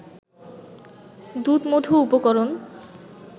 দুধ-মধু উপকরণ